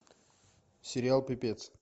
сериал пипец